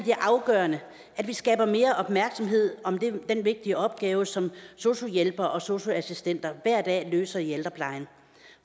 afgørende at vi skaber mere opmærksomhed om den vigtige opgave som sosu hjælpere og sosu assistenter hver dag løser i ældreplejen